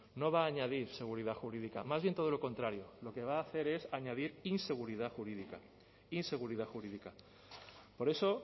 no va a añadir seguridad jurídica más bien todo lo contrario lo que va a hacer es añadir inseguridad jurídica inseguridad jurídica por eso